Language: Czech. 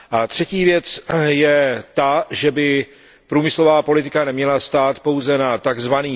Třetí věc je ta, že by průmyslová politika neměla stát pouze na tzv.